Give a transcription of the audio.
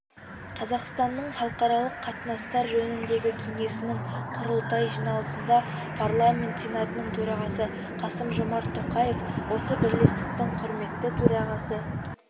қазақстанның халықаралық қатынастар жөніндегі кеңесінің құрылтай жиналысында парламент сенатының төрағасы қасым-жомарт тоқаев осы бірлестіктің құрметті төрағасы